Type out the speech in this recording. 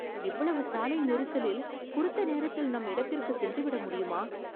இவ்வளவு சாலை நெரிசலில் குறித்த நேரத்தில் நம் இடத்திற்கு சென்று விட முடியுமா